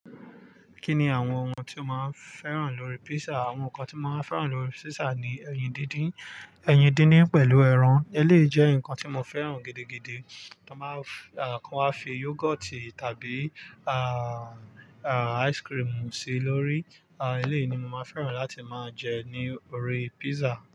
Kí ni àwọn ohun tí o máa ń fẹ́ràn lórí pizza? Àwọn nǹkan tí mo máa ń fẹ́ràn lórí pizza ni ẹyin díndín. Ẹyin díndín pẹ̀lú ẹran, eléyi je nǹkan tí mo fẹ́ràn gidigidi tí wọ́n máa ń, à, tí wọ́n fi yogoti tàbí, àà, à, ice cream sí lórí. À, elé ni mo máa ń fẹ́ràn láti máa jẹ ní orí pizza.